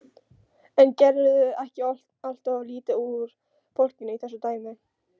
En gerirðu ekki alltof lítið úr fólkinu í þessu dæmi?